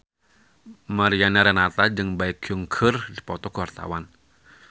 Mariana Renata jeung Baekhyun keur dipoto ku wartawan